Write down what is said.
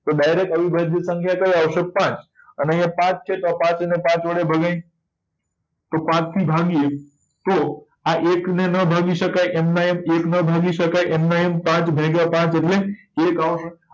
તો direct અવિભાજ્ય સંખ્યા કઈ આવશે પાંચ અને અહિયાં પાંચ છે તો પાંચ ને પાંચ વડે ભગાય તો પાંચ થી ભાગીયે તો આ એક ને નાં ભાગી શકાય એમના એમ એક નો ભાગી શકાય એમના એમ પાંચ ભાગ્ય પાંચ એટલે એક આવશે